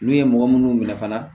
N'u ye mɔgɔ munnu minɛ fana